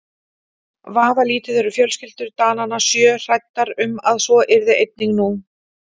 Vafalítið eru fjölskyldur Dananna sjö hræddar um að svo yrði einnig nú.